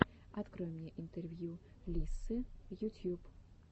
открой мне интервью лиссы ютьюб